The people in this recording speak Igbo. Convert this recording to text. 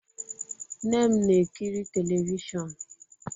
Nne m na-ekiri telivishọn